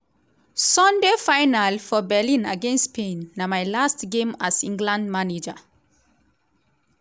sunday final for berlin against spain na my last game as england manager.”